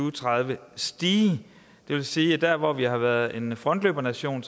og tredive stige det vil sige at der hvor vi har været en frontløbernation